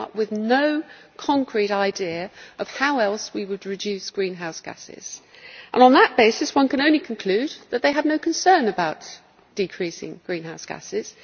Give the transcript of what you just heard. They have come up with no concrete idea of how else we would reduce greenhouse gases, and on that basis one can only conclude that they have no concern about decreasing greenhouse gases.